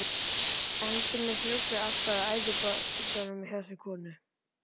Endemis ruglið alltaf og æðibunugangurinn í þessari konu.